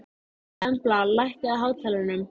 Embla, lækkaðu í hátalaranum.